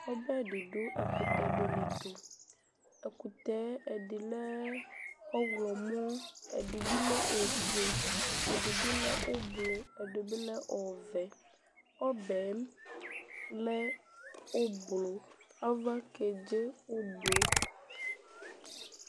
Ɔbɛ di du ɛkutɛdini ɛtu Ɛkutɛ ɛdi lɛ ɔɣlɔmɔ ɛdibi lɛ ofue ɛdibi lɛ ublɔ ɛdibi lɛ ɔvɛ Ɔbɛ lɛ ublɔ avakedze ublɔ